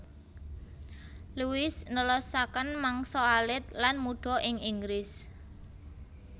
Louis nelasaken mangsa alit lan mudha ing Inggris